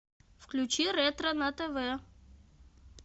включи ретро на тв